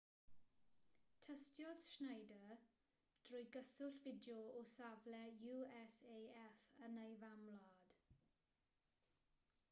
tystiodd schneider drwy gyswllt fideo o safle usaf yn ei famwlad